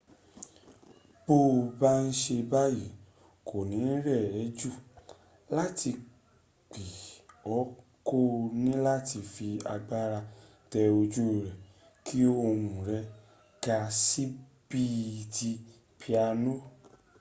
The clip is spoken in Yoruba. bó ba n ṣe báyí kò ní rẹ̀ ẹ́ jù rántí pé o kò níláti fi agbára tẹ ojú rẹ̀ kí ohun rẹ̀ ga síi bí ti piano